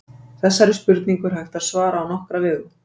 Þessari spurningu er hægt að svara á nokkra vegu.